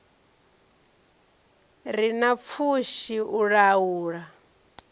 re na pfushi u laula